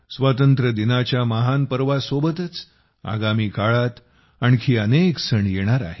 स्वातंत्र्यदिनाच्या महान पर्वासोबतच आगामी काळात आणखी अनेक सण येणार आहेत